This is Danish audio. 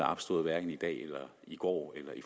opstået hverken i dag i går eller i